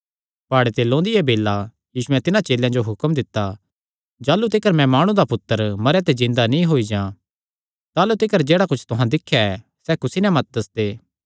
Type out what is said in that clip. प्हाड़े ते लौंदिया बेल्ला यीशुयैं तिन्हां चेलेयां जो हुक्म दित्ता जाह़लू तिकर मैं माणु दा पुत्तर मरेयां च जिन्दा नीं होई जां ताह़लू तिकर जेह्ड़ा कुच्छ तुहां दिख्या ऐ सैह़ कुसी नैं मत दस्सदे